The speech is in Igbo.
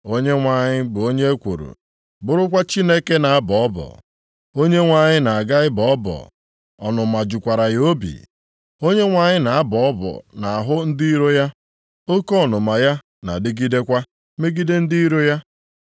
Onyenwe anyị bụ onye ekworo, bụrụkwa Chineke na-abọ ọbọ. Onyenwe anyị na-aga ịbọ ọbọ, ọnụma jukwara ya obi. Onyenwe anyị na-abọ ọbọ nʼahụ ndị iro ya, oke ọnụma ya na-adịgidekwa megide ndị iro ya.